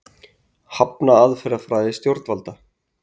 Hafna aðferðafræði stjórnvalda